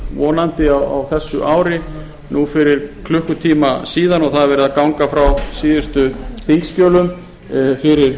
vonandi á þessu ári nú fyrir klukkutíma síðar og það er verið að ganga frá síðustu þingskjölum fyrir